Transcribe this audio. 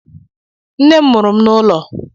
Nne m mụrụ m n'ụlọ.